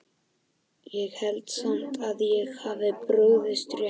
Ég held samt að ég hafi brugðist rétt við